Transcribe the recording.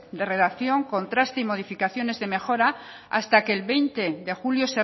de redacción contraste y modificaciones de mejora hasta que el veinte de julio